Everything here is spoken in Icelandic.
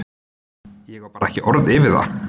Ég á bara ekki orð yfir það.